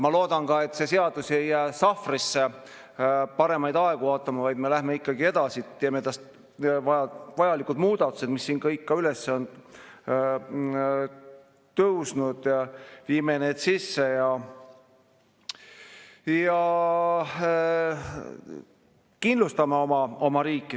Ma loodan ka, et see seadus ei jää sahvrisse paremaid aegu ootama, vaid me läheme ikkagi edasi, teeme vajalikud muudatused, mis siin kõik üles on tõusnud, ja viime need sisse ja kindlustame oma riiki.